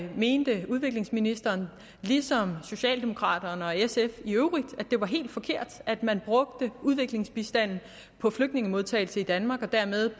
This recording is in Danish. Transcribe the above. mente udviklingsministeren ligesom socialdemokraterne og sf i øvrigt at det var helt forkert at man brugte udviklingsbistanden på flygtningemodtagelse i danmark og dermed